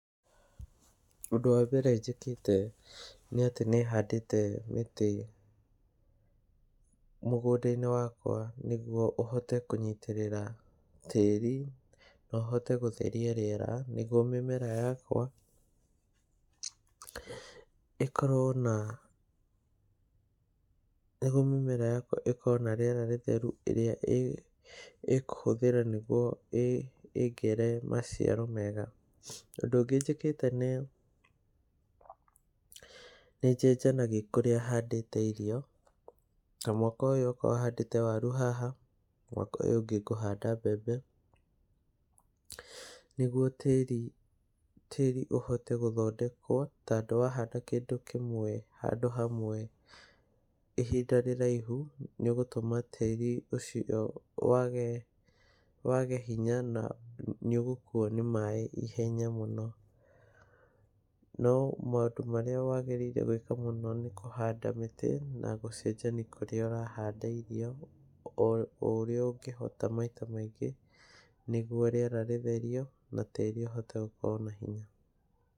Ũndũ wa mbere njĩkĩte nĩ atĩ nĩ handĩte mĩtĩ mũgũnda-inĩ wakwa nĩguo ũhote kũnyitĩrĩra tĩĩri na ũhote gũtheria rĩera nĩguo mĩmera yakwa ĩkorwo na rĩera rĩtheru ĩrĩa ĩkũhũthĩra nĩguo ĩĩgĩre maciaro mega. Ũndũ ũngĩ njĩkĩte nĩ ũũ, nĩ njenjanagia ũrĩa handĩte irio. Ta mwaka ũyũ okorwo handĩte waru haha mwaka ũyũ ũngĩ ngũhanda mbembe nĩguo tĩĩri ũhote gũthondekwo. Tondũ wahanda kĩndũ kĩmwe handũ hamwe ihinda rĩraihu nĩ ũgũtũma tĩĩri ũcio wage hinya na nĩ ũgũkuo nĩ maĩ ihenya mũno. No maũndũ marĩa wagĩrĩirwo gwĩka mũno nĩ kũhanda mĩtĩ na gũcenjania kũrĩa ũrahanda irio, o ũrĩa ũngĩhota maita maingĩ, nĩguo rĩera rĩtherio na tĩĩri ũhote gũkorwo na hinya.